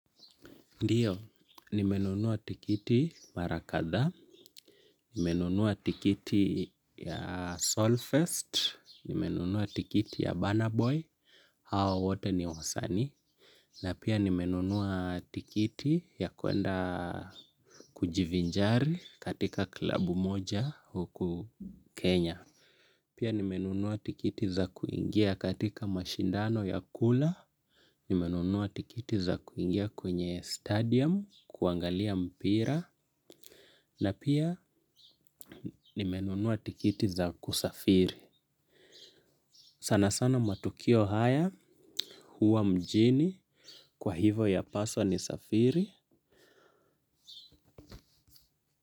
Ndiyo, nimenunua tikiti mara kadhaa, nimenunua tikiti ya Soul fest, nimenunua tikiti ya Burna boy, hao wote ni wasanii, na pia nimenunua tikiti ya kuenda kujivinjari katika klabu moja huku Kenya. Pia nimenunua tikiti za kuingia katika mashindano ya kula, nimenunua tikiti za kuingia kwenye stadium kuangalia mpira na pia nimenunuwa tikiti za kusafiri. Sana sana matukio haya huwa mjini kwa hivo ya paswa nisafiri.